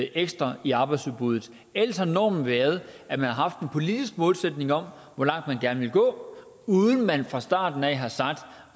ekstra i arbejdsudbuddet ellers har normen været at man har haft en politisk målsætning om hvor langt man gerne ville gå uden at man fra starten af har sagt